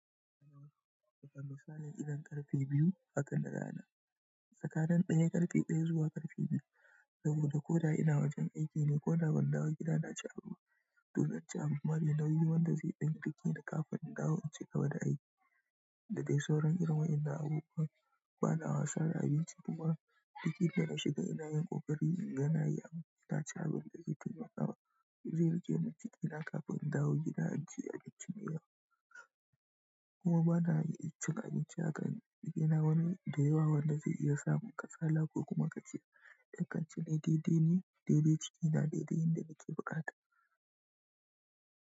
Ina wasu lokuta ba zan sani idan ƙarfe biyu haka da rana ba, tsakanin ɗaya, ƙarfe ɗaya zuwa ƙarfe biyu. Saboda ko da ina wajen aiki ne ko da ban dawo gida na ci abinci. Dan haka, amma bari na yi wanda zai ɗinke ni kafin in dawo in ci gaba da aiki. Da dai sauran girma ina abu kuma bana wasa da abinci kuma. Duk yanda na shiga ina yin ƙoƙari in ga na yi abinci ta ci abin da jiki na kawo. Zai riƙe ni cikin gida kafin in dawo gida in ci abincin yau. Kuma bana iya cin abinci a kan gidana wani da yawa wanda zai iya samun kasala ko kuma ka ci. Dakance ne daidai ne, daidai cikin gida, daidai yadda nake buƙata.